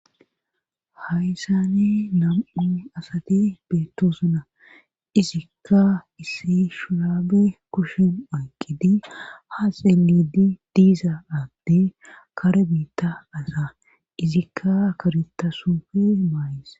hayssani nam7u asati beettosuna izikka issi shiraabe kushin oyqqidi ha xeenidi diiza aadde kare biitta asa izikka karitasufe maayis